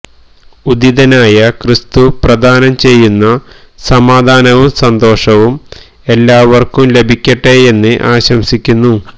ഉത്ഥിതനായ ക്രിസ്തു പ്രദാനം ചെയ്യുന്ന സമാധാനവും സന്തോഷവും എല്ലാവര്ക്കും ലഭിക്കട്ടെയെന്ന് ആശംസിക്കുന്നു